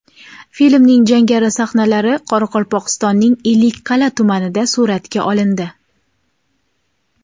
Filmning jangari sahnalari Qoraqalpog‘istonning Ellikqal’a tumanida suratga olindi.